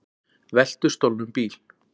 Veltu stolnum bíl